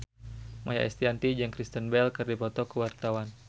Maia Estianty jeung Kristen Bell keur dipoto ku wartawan